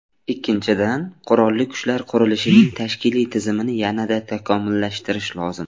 Ikkinchidan, Qurolli Kuchlar qurilishining tashkiliy tizimini yanada takomillashtirish lozim.